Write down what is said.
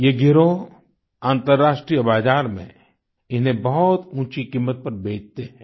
ये गिरोह अंतर्राष्ट्रीय बाजार में इन्हें बहुत ऊँची कीमत पर बेचते हैं